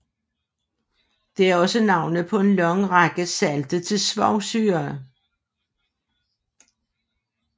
Det er også navnet på en lang række salte af svovlsyre